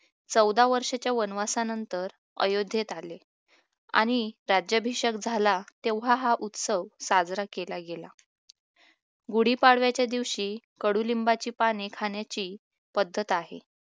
चौदा वर्षाच्या वनवासानंतर अयोध्येत आले आणि राज्याभिषेक झाला तेव्हा हा उत्सव साजरा केला गेला गुढीपाडव्याच्या दिवशी कडुलिंबाची पाने खाण्याची पद्धत आहे